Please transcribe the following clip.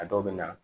A dɔw bɛ na